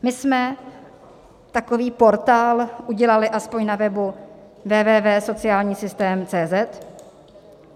My jsme takový portál udělali aspoň na webu www.socialnisystem.cz